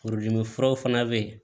Furudimi furaw fana bɛ yen